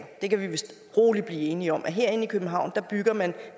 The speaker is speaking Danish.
det kan vi vist roligt blive enige om herinde i københavn bygger man